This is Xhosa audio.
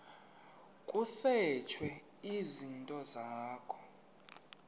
kusetshwe izinto zakho